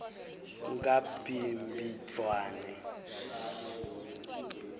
ngabhimbidvwane